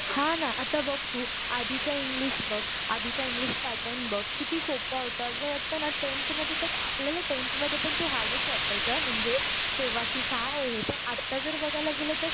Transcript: हा ना आता बघ तू आधीचा इंग्लिश बघ, आधीच इंग्लिश पॅटर्न बघ किती सोप्प होत असं वाटत ना लेन्थ मध्ये तर, आपल्याला टेन्थ मध्ये तो हार्डच वाटायचा म्हणजे तेव्हा कि काय हे पण आटा जर बघायला गेलं तर